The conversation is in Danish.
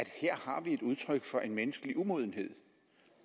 her har et udtryk for en menneskelig umodenhed